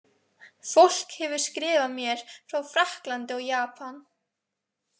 Fólk hefur skrifað mér frá Frakklandi og Japan.